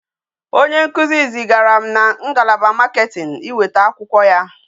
Onye nkuzi zi gara na ngalaba marketing iweta akwukwo ya